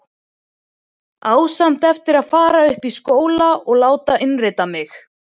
Á samt eftir að fara upp í skóla og láta innrita mig.